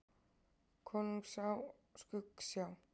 Konungs Skuggsjá.